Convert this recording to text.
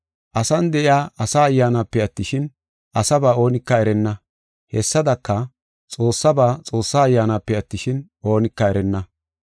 Asan de7iya asa ayyaanape attishin, asaba oonika erenna. Hessadaka, Xoossaba, Xoossa Ayyaanape attishin, oonika erenna.